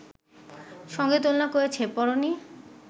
সঙ্গে তুলনা করেছে, পড়োনি